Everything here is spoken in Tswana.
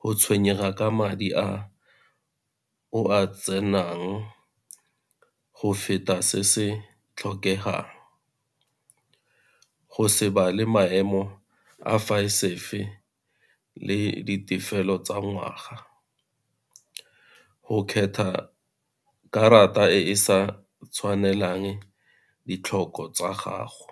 go tshwenyega ka madi a o a tsenang, go feta se se tlhokegang, go Se bale maemo a le ditefelelo tsa ngwaga, go kgetha karata e e sa tshwanelang ditlhoko tsa gago.